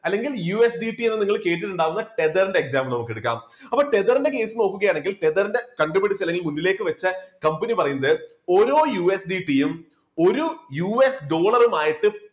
അല്ലെങ്കിൽ USDT എന്ന് നിങ്ങൾ കേട്ടിട്ടുണ്ടാകുന്ന tether ന്റെ example നമുക്ക് എടുക്കാം, അപ്പോൾ tether ന്റെ case നോക്കുകയാണെങ്കിൽ tether ന്റെ കണ്ടുപിടിച്ച അല്ലെങ്കിൽ മുന്നിലേക്ക് വച്ച് കമ്പനി പറയുന്നത് ഓരോ USDB യും ഒരു US Dollar മായിട്ട്